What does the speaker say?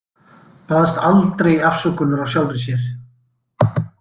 Baðst aldrei afsökunar á sjálfri sér.